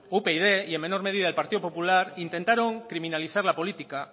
upyd y en menor medida el partido popular intentaron criminalizar la política